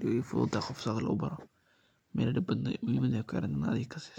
Wey ila fududahay qof sidha lobaro ma iladib badno muhimadha wexey kuxirantee in ad adiga kaseyso